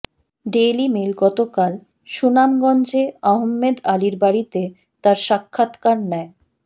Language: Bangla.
ডেইলি মেইল গতকাল সুনামগঞ্জে আহমেদ আলীর বাড়িতে তার সাক্ষাৎকার নেয়